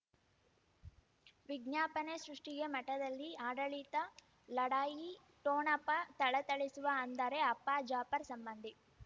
ವಿಜ್ಞಾಪನೆ ಸೃಷ್ಟಿಗೆ ಮಠದಲ್ಲಿ ಆಡಳಿತ ಲಢಾಯಿ ಠೋಣಪ ಥಳಥಳಿಸುವ ಅಂದರೆ ಅಪ್ಪ ಜಾಫರ್ ಸಂಬಂಧಿ